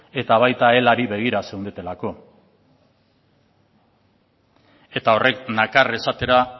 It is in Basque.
eta baita ere elari begira zeundetelako eta horrek nakar esatera